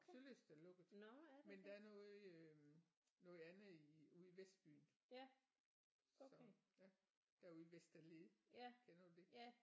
Sølyst er lukket men der er noget i øh noget andet i ude i vestbyen så ja derude i Vesterled kender du det